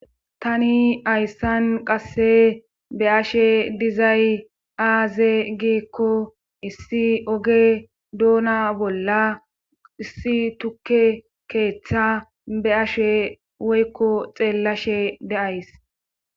tani hayssan qasse be ashe dizay aaze giikko issi oge duona bolla issi tukke keeththa be ashe woykko xeellashe deays